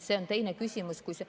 See on teine küsimus.